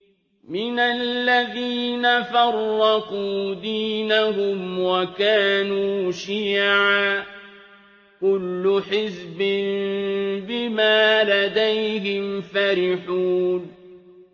مِنَ الَّذِينَ فَرَّقُوا دِينَهُمْ وَكَانُوا شِيَعًا ۖ كُلُّ حِزْبٍ بِمَا لَدَيْهِمْ فَرِحُونَ